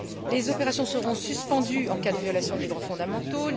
Les opérations seront suspendues en cas de violation des droits fondamentaux.